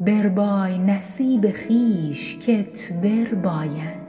بربای نصیب خویش کت بربایند